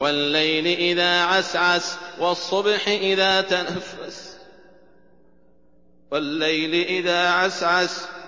وَاللَّيْلِ إِذَا عَسْعَسَ